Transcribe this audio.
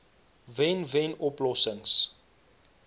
wen wen oplossings